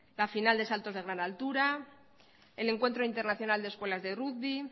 la final de saltos de gran altura el encuentro internacional de escuelas de rugby